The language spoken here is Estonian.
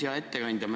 Hea ettekandja!